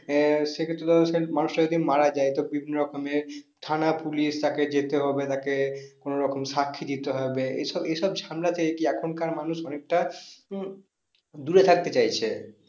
আহ সে ক্ষেত্রে ধরো সে মানুষটা যদি মারা যায় তো বিভিন্ন রকমের থানা পুলিশ তাকে যেতে হবে তাকে কোনো রকম সাক্ষী দিতে হবে এসব এসব ঝামেলাতে কি এখনকার মানুষ অনেকটা উম দূরে থাকতে চাইছে।